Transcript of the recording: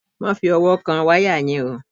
Má fi ọwọ́ kan wáyà yẹn o!